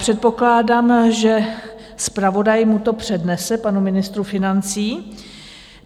Předpokládám, že zpravodaj mu to přednese, panu ministru financí.